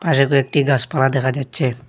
পাশে কয়েকটি গাছপালা দেখা যাচ্ছে।